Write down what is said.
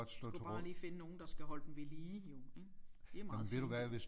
Skulle bare lige finde nogen der skal holde dem ved lige jo ik de er meget fine